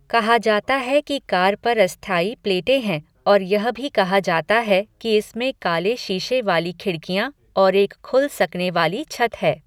कहा जाता है कि कार पर अस्थायी प्लेटें हैं और यह भी कहा जाता है कि इसमें काले शीशे वाली खिड़कियां और एक खुल सकने वाली छत है।